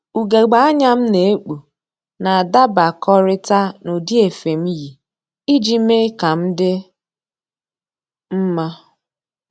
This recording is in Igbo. Ugegbe anya m na-ekpu na-adabakọrịta n'ụdị efe m yi iji mee ka m dị mma